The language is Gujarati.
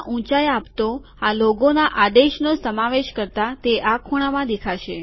ઊંચાઈ આપતો આ લોગોના આદેશનો સમાવેશ કરતા તે આ ખૂણામાં દેખાશે